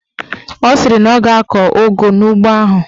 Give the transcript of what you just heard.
Ọ sịrị na ọ ga-akọ ụgụ n'ugbo ahụ.